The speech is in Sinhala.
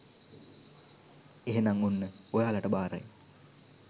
එහෙනම් ඔන්න ඔයාලට බාරයි